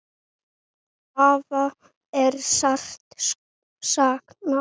Afa er sárt saknað.